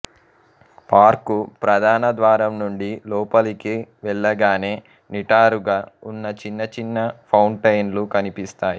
park ప్రధాన ద్వారంనుండి లోపలికి వెళ్ళగానే నిటారుగా ఉన్న చిన్నచిన్న ఫౌంటైన్లు కనిపిస్తాయి